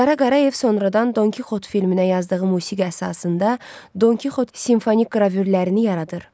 Qara Qarayev sonradan Don Kixot filminə yazdığı musiqi əsasında Don Kixot simfonik qravürlərini yaradır.